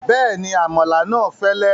Bẹ́ẹ̀ni, àmàlà náà fẹ́lẹ́